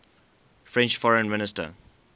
french foreign minister